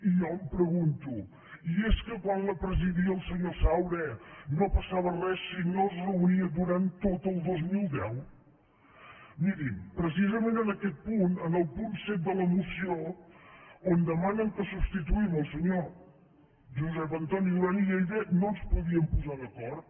i jo em pregunto i és que quan la presidia el senyor saura no passava res si no es reunia durant tot el dos mil deu mirin precisament en aquest punt en el punt set de la moció on demanen que substituïm el senyor josep an·toni duran i lleida no ens podíem posar d’acord